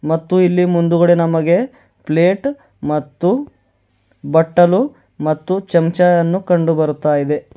ಮತ್ತು ಇಲ್ಲಿ ಮುಂದುಗಡೆ ನಮಗೆ ಪ್ಲೇಟ್ ಮತ್ತು ಬಟ್ಟಲು ಮತ್ತು ಚಮಚಾ ಅನ್ನು ಕಂಡುಬರುತಾಇದೆ.